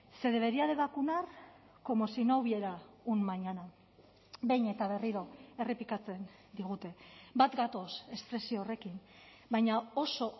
se debería de vacunar como si no hubiera un mañana behin eta berriro errepikatzen digute bat gatoz espresio horrekin baina oso